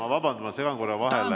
Ma vabandan, ma segan korra vahele ...